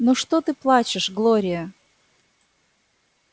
ну что ты плачешь глория